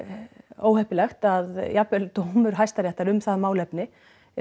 óheppilegt að jafnvel dómur hæstaréttar um það málefni